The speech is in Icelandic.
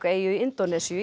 eyju í Indónesíu